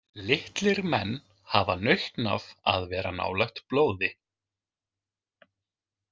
Litlir menn hafa nautn af að vera nálægt blóði.